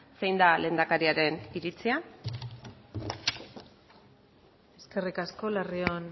zein da lehendakariaren iritzia eskerrik asko larrion